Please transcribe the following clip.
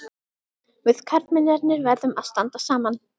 Við karlmennirnir verðum að standa saman.